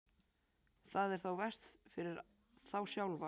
Það er þá verst fyrir þá sjálfa.